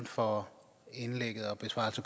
for